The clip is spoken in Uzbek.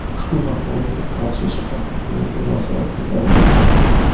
Ushbu maqolaga Qarshi shahar hokimligi munosabat bildirdi.